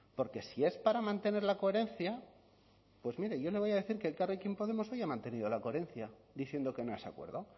porque si es para mantener la coherencia pues mire yo le voy a decir que elkarrekin podemos hoy ha mantenido la coherencia diciendo que no a ese acuerdo